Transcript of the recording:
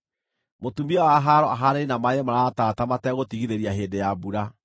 Mũtumia wa haaro ahaanaine na maaĩ maratata mategũtigithĩria hĩndĩ ya mbura;